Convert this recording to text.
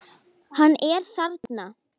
Hann er þarna!